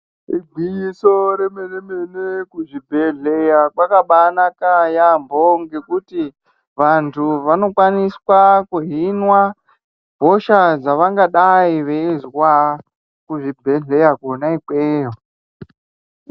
Igwinyiso remene-mene kuzvibhehleya kwakabaanaka yaambo ngekuti vantu vanokwaniswa vanohinwa hosha dzavangadayi veizwa kuzvibhehleya kona ikweyo.